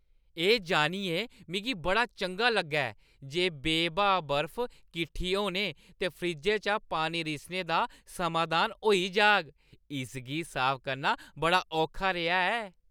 एह् जानियै मिगी बड़ा चंगा लग्गा ऐ जे बे-ब्हा बर्फ कट्ठी होने ते फ्रिज्जै चा पानी रिसने दा समाधान होई जाह्‌ग- इसगी साफ करना बड़ा औखा रेहा ऐ।